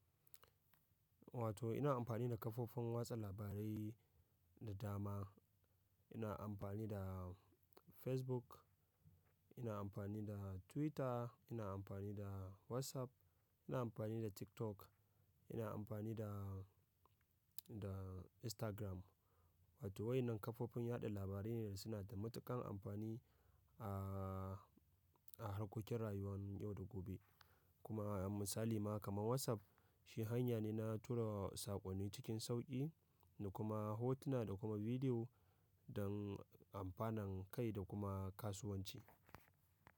Wato ina amfani da kafofin watsa labarai da dama. Ina amfani da Facebook, ina amfani da Twitter, ina amfani da WhatsApp, ina amfani da TikTok, ina amfani da, da Instagram. Wato waɗannan kafofin yaɗa labarai ne da suna da matuƙan amfani a, a harkokin rayuwar yau da gobe. Kuma misali ma kamar WhatsApp shi hanya ne na tura saƙonni cikin sauƙi da kuma hotuna da kuma bidiyo don amfanin kai da kuma kasuwanci.